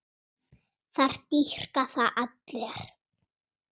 Það dýrka það allir.